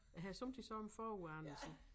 Jeg har somme tider sådan forudanelse